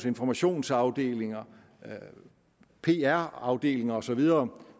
informationsafdelinger pr afdelinger og så videre